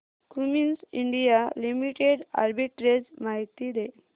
Cummins India Limited arbitrage माहिती दे